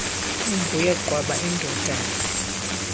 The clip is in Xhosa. inguye qwaba indodana